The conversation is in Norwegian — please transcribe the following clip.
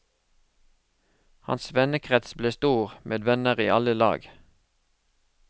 Hans vennekrets ble stor, med venner i alle lag.